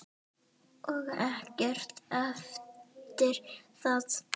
Og ekkert eftir það.